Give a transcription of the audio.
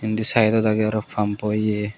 endi saidod aage aaro pumpo ye.